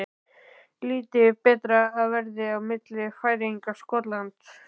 Lítið betra var veðrið á milli Færeyja og Skotlands.